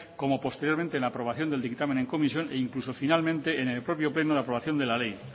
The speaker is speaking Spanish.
como posteriormente en la aprobación del dictamen en comisión e incluso finalmente en el propio pleno de la aprobación de la ley